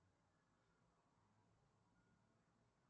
афина я ничего об этом не знаю